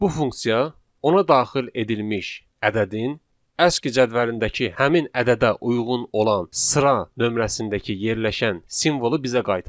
Bu funksiya ona daxil edilmiş ədədin aski cədvəlindəki həmin ədədə uyğun olan sıra nömrəsindəki yerləşən simvolu bizə qaytarır.